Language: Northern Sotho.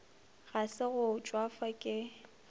ga se go tšwafa ke